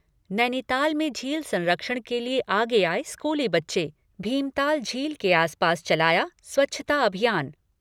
नैनीताल में झील संरक्षण के लिए आगे आए स्कूली बच्चे। भीमताल झील के आसपास चलाया स्वच्छता अभियान।